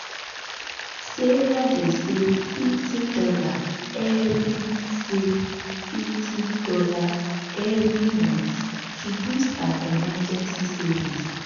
sarah dey save fifty dollarsevery save fifty dollarsevery month to boost her emergency savings.